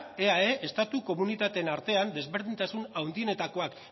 eae estatu komunitateen artean desberdintasun handienetakoak